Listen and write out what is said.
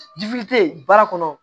baara kɔnɔ